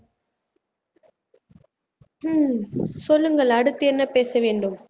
உம் சொல்லுங்கள் அடுத்து என்ன பேச வேண்டும்